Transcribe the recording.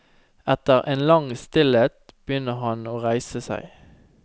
Etter en lang stillhet begynner han å reise seg.